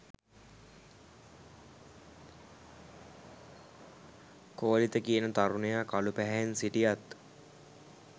කෝලිත කියන තරුණයා කළු පැහැයෙන් සිටියත්